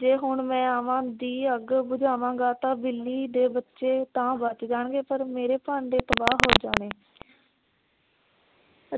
ਜੇ ਮੈ ਹੁਣ ਆਹਾਂ ਦੀ ਅੱਗ ਬੁਝਾਵਾਗਾ ਤਾਂ ਬਿੱਲੀ ਦੇ ਬੱਚੇ ਤਾ ਬਚ ਜਾਣਏ। ਪਰ ਮੇਰੇ ਭਾਂਡੇ ਤਬ੍ਹਾ ਹੋ ਜਾਵੇਂ